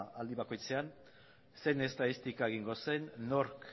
aldi bakoitzean zein estatistika egingo zen nork